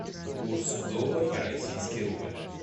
курс доллар российский рубль